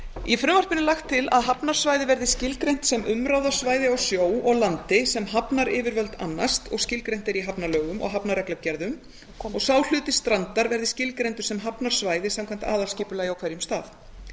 í frumvarpinu er lagt til að hafnarsvæði verði skilgreint sem umráðasvæði á sjó og landi sem hafnaryfirvöld annast og skilgreint er í hafnalögum og hafnarreglugerðum og sá hluti strandar verði skilgreindur sem hafnarsvæði samkvæmt aðalskipulagi á hverjum stað